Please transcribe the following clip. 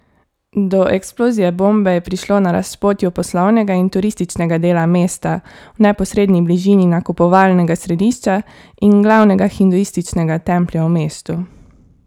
Do eksplozije bombe je prišlo na razpotju poslovnega in turističnega dela mesta, v neposredni bližini nakupovalnega središča in glavnega hinduističnega templja v mestu.